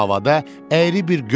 O havada əyri bir qövs cızdı